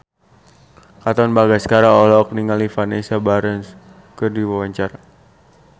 Katon Bagaskara olohok ningali Vanessa Branch keur diwawancara